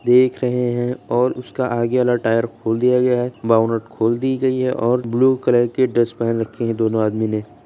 देख रहे हैं और उसका आगे वाला टायर खोल दिया गया है। बउनट खोल दी गई है और ब्लू कलर के ड्रेस पेहन रखे हैं दोनों आदमी ने।